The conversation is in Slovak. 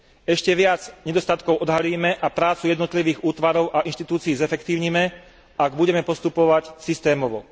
Ešte viac nedostatkov odhalíme a prácu jednotlivých útvarov a inštitúcií zefektívnime, ak budeme postupovať systémovo.